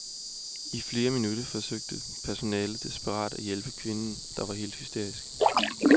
I flere minutter forsøgte personalet desperat at hjælpe kvinden, der var helt hysterisk.